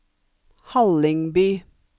Hallingby